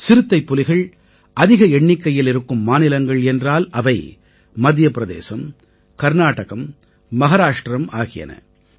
சிறுத்தைப்புலிகள் அதிக எண்ணிக்கையில் இருக்கும் மாநிலங்கள் என்றால் அவை மத்திய பிரதேசம் கர்நாடகம் மஹாராஷ்ட்ரம் ஆகியன